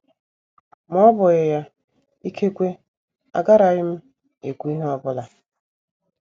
Ma ọ bụghị ya, ikekwe agaraghị m ekwu ihe ọ bụla.